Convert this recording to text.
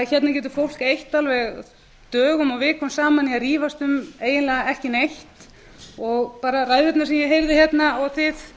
hérna getur fólk eytt alveg dögum og vikum saman í að rífast um eiginlega ekki neitt og bara ræðurnar sem ég heyrði hérna og þið